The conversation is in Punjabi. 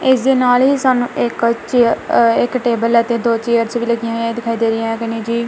ਇਸ ਦੇ ਨਾਲ ਹੀ ਸਾਨੂੰ ਇੱਕ ਚੇਅਰ ਇੱਕ ਟੇਬਲ ਅਤੇ ਦੋ ਚੇਅਰਜ਼ ਲੱਗੀਆਂ ਹੋਈਆਂ ਦਿਖਾਈ ਦੇ ਰਹੀਆ ਹਨ ਜੀ।